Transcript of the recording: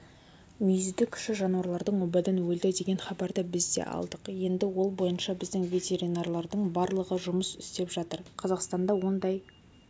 мүйізді кіші жануарлардың обадан өлді деген хабарды біз да алдық енді ол бойынша біздің ветеринарлардың барлығы жұмыс істеп жатыр қазақстанда ондай